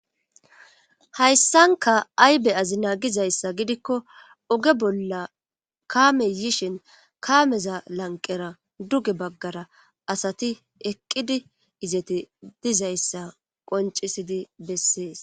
Hayssanka aybe azina gizayssa gidikko oge bolla kaame yishin kaameza lanqera duge baggara asati eqqidi izeti dizayssa qoncisidi bessees.